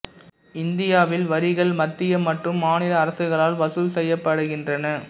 இந்தியாவில் வரிகள் மத்திய மற்றும் மாநில அரசுகளால் வசூல் செய்யப்படுகின்றன